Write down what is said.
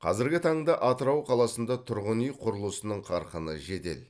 қазіргі таңда атырау қаласында тұрғын үй құрылысының қарқыны жедел